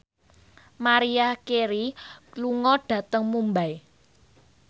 Maria Carey lunga dhateng Mumbai